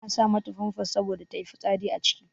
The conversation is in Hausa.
Ana sa mata famfas saboda ta yi fitsari a ciki.